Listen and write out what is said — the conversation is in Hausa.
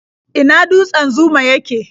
A ina dutsen Zuma yake?